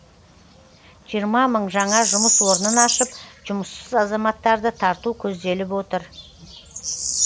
жиырма мың жаңа жұмыс орнын ашып жұмыссыз азаматтарды тарту көзделіп отыр